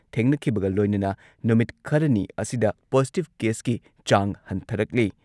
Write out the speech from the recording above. ꯊꯦꯡꯅꯈꯤꯕꯒ ꯂꯣꯏꯅꯅ ꯅꯨꯃꯤꯠ ꯈꯔꯅꯤ ꯑꯁꯤꯗ ꯄꯣꯖꯤꯇꯤꯚ ꯀꯦꯁꯀꯤ ꯆꯥꯡ ꯍꯟꯊꯔꯛꯂꯤ꯫